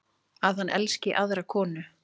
Að hann elski aðra konu.